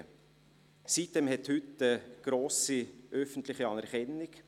Die sitem-insel hat heute eine grosse öffentliche Anerkennung.